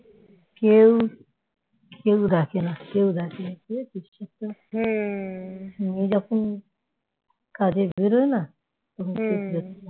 কেউ দেখে না কেউ দেখেনা বুঝেছিস উনি যখন কাজে বেরোয় না তখন কেউ দেখেনা